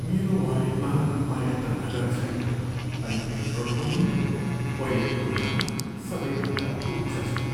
मेरो वालेटमा पर्याप्त नगद छैन अनि पेट्रोलको मूल्य पहिलेको तुलनामा सबैभन्दा उच्च छ।